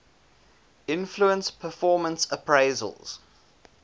influence performance appraisals